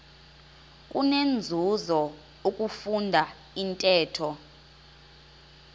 kunenzuzo ukufunda intetho